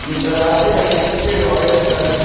ये दरवाजे हैं जो पीले ऑरेंज कलर के हैं।